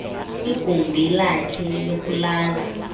kwigumbi lakhe lokulala